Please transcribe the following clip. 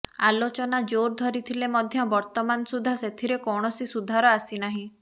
ଆଲୋଚନା ଜୋର ଧରିଥିଲେ ମଧ୍ୟ ବର୍ତ୍ତମାନ ସୁଦ୍ଧା ସେଥିରେ କୌଣସି ସୁଧାର ଆସିନାହିଁ